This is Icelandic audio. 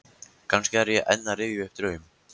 Kannski er ég enn að rifja upp draum.